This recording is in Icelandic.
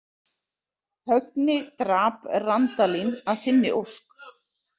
Högni drap Randalín að þinni ósk.